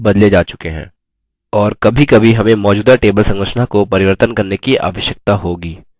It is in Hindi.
और कभीकभी हमें मौजूदा table संरचना को परिवर्तन करने की आवश्यकता होगी